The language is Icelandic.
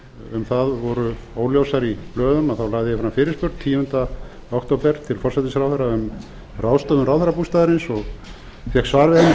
um það voru óljósar í blöðum þá lagði ég fram fyrirspurn tíunda október til forsætisráðherra um ráðstöfun ráðherrabústaðarins og fékk svar við henni fyrsta nóvember þar